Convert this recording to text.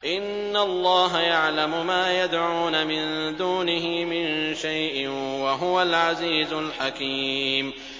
إِنَّ اللَّهَ يَعْلَمُ مَا يَدْعُونَ مِن دُونِهِ مِن شَيْءٍ ۚ وَهُوَ الْعَزِيزُ الْحَكِيمُ